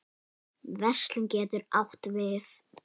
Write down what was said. Verslun getur átt við